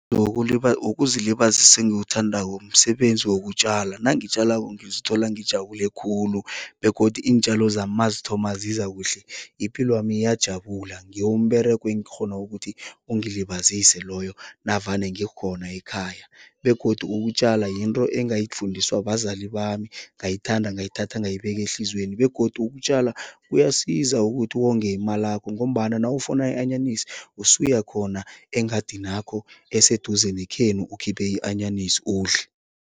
Ukuzilibazisa engikuthandako msebenzi wokutjala. Nangitjalako ngizithola ngijabule khulu begodu iintjalo zami mazithoma ziza kuhle, ipilwami. Ngiwo umberego engakghona ukuthi ungizilibazise loyo navane ngikhona ekhaya begodu ukutjala yinto engayifundiswa bazali bami, ngayithanda, ngayithatha, ngayibeka ehliziyweni begodu ukutjala kuyasiza ukuthi wonge imalakho ngombana nawufuna i-anyanisi, usuya khona engadinakho eseduze nekhenu ukhiphe i-anyanisi, udle.